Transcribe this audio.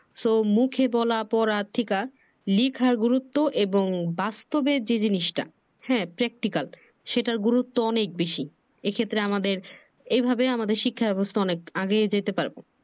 so মুখে বলা পড়ার থেকে লিখা গুরুত্ব এবং বাস্তবে যে জিনিসটা হ্যা practical সেটার গুরুত্ব অনেক বেশি এই ক্ষেত্রে আমাদের এইভাবে আমাদের শিক্ষার ব্যবস্থা অনেক আগায়ে যাইতে পারবে।